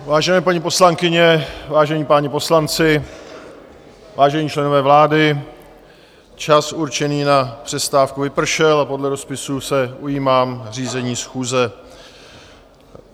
Vážené paní poslankyně, vážení páni poslanci, vážení členové vlády, čas určený na přestávku vypršel a podle rozpisu se ujímám řízení schůze.